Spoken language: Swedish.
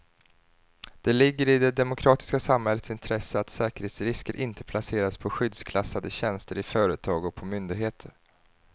Det ligger i det demokratiska samhällets intresse att säkerhetsrisker inte placeras på skyddsklassade tjänster i företag och på myndigheter.